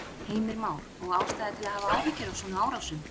Heimir Már: Og ástæða til að hafa áhyggjur af svona árásum?